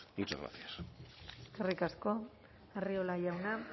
muchas gracias eskerrik asko arriola jauna